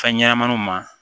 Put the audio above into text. Fɛn ɲɛnɛmaniw ma